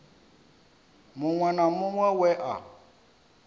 muṅwe na muṅwe we a